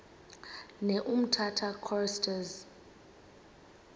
ne umtata choristers